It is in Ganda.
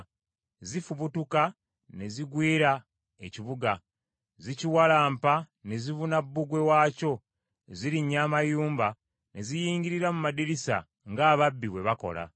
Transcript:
Zifubutuka ne zigwira ekibuga. Zikiwalampa ne zibuna bbugwe waakyo. Zirinnya amayumba ne ziyingirira mu madirisa ng’ababbi bwe bakola.